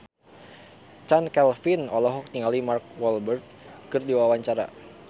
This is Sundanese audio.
Chand Kelvin olohok ningali Mark Walberg keur diwawancara